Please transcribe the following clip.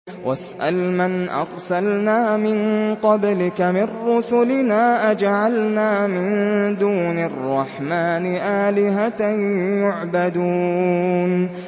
وَاسْأَلْ مَنْ أَرْسَلْنَا مِن قَبْلِكَ مِن رُّسُلِنَا أَجَعَلْنَا مِن دُونِ الرَّحْمَٰنِ آلِهَةً يُعْبَدُونَ